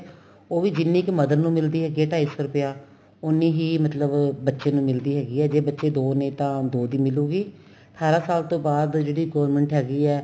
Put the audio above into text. ਉਹ ਵੀ ਜਿੰਨੀ ਕ mother ਨੂੰ ਮਿਲਦੀ ਹੈਗੀ ਏ ਢਾਈ ਸੋ ਰੁਪਇਆ ਉੰਨੀ ਹੀ ਮਤਲਬ ਬੱਚੇ ਨੂੰ ਮਿਲਦੀ ਹੈਗੀ ਏ ਜੇ ਬੱਚੇ ਦੋ ਨੇ ਤਾਂ ਦੋ ਦੀ ਮਿਲੂਗੀ ਅਠਾਰਾ ਸਾਲ ਤੋਂ ਬਾਅਦ ਜਿਹੜੀ government ਹੈਗੀ ਏ